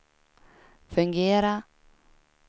fungera